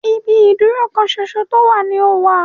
Ibi ìdúró kan ṣoṣo tó wà ní o wà.